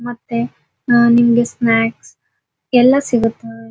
ಮತ್ತೆ ನಿಮಗೆ ಸ್ನಾಕ್ಸ್ ಎಲ್ಲ ಸಿಗುತ್ತೆ .